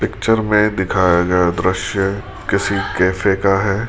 Picture में दिखाया गया दृश्य किसी कैफे का है।